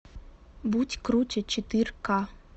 будь круче четыре ка